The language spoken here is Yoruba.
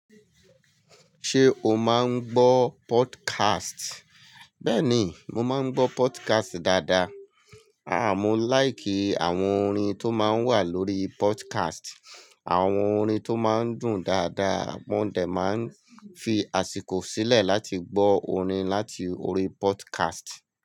Ṣé o máa ń gbọ́ podcast? Bẹ́ẹ̀ni, mo máa ń gbọ́ podcast dáadáa. Mo láì kí àwọn orin tó máa ń wà lórí podcast, àwọn orin tó máa ń dùn dáadáa, mó dẹ̀ máa ń fi àsìkò sílẹ̀ láti gbọ́ orin láti orí podcast.